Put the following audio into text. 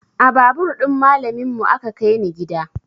A babur ɗin malamin mu aka kai ni gida